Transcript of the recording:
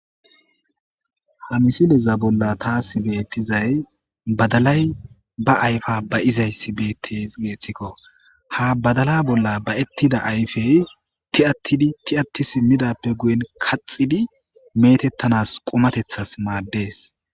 ha misileza bolla taasi beettizay badalay ba ayfa ba izayssi beettes geeththikko ha badala bolla ba7ettida ayfey ti7attidi ti7atti simmidappe guyen kaxidi meetettanas qumatethas maaddees